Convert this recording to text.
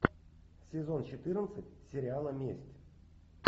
сезон четырнадцать сериала месть